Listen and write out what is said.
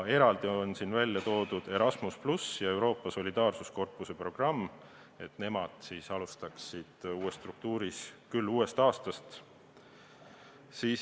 Eraldi on välja toodud Erasmus+ ja Euroopa Solidaarsuskorpuse programm, nemad siis alustaksid uues struktuuris uuest aastast.